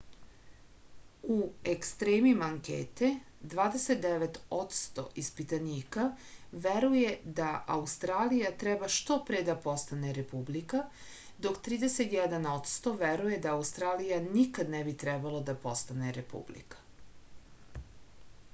u ekstremima ankete 29 odsto ispitanika veruje da australija treba što pre da postane republika dok 31 odsto veruje da australija nikad ne bi trebalo da postane republika